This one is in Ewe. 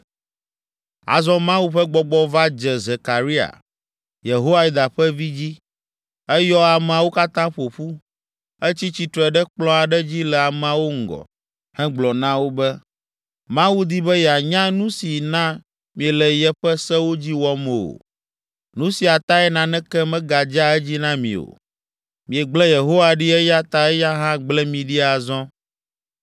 Azɔ Mawu ƒe Gbɔgbɔ va dze Zekaria, Yehoiada ƒe vi, dzi. Eyɔ ameawo katã ƒo ƒu. Etsi tsitre ɖe kplɔ̃ aɖe dzi le ameawo ŋgɔ hegblɔ na wo be, “Mawu di be yeanya nu si na miele yeƒe sewo dzi wɔm o. Nu sia tae naneke megadzea edzi na mi o. Miegble Yehowa ɖi eya ta eya hã gble mi ɖi azɔ.”